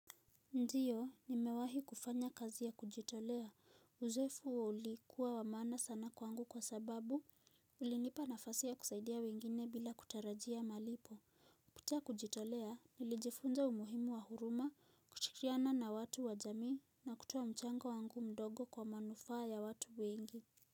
Ndiyo, nimewahi kufanya kazi ya kujitolea. Uzoefu huo ulikuwa wa maana sana kwangu kwa sababu, ulinipa nafasi ya kusaidia wengine bila kutarajia malipo. Kutia kujitolea, nilijifunza umuhimu wa huruma, kushikiriana na watu wa jamii, na kutoa mchango wangu mdogo kwa manufaa ya watu wengi.